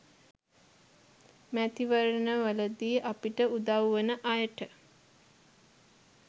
මැතිවරණවලදී අපිට උදව් වන අයට